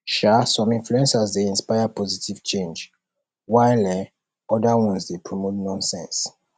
um some influencers dey inspire positive change while um oda ones dey promote nonsense